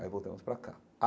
Aí voltamos para cá.